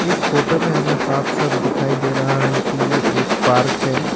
इस फोटो में हमें साफ साफ दिखाई दे रहा है कि ये एक पार्क है।